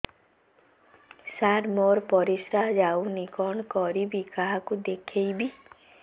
ସାର ମୋର ପରିସ୍ରା ଯାଉନି କଣ କରିବି କାହାକୁ ଦେଖେଇବି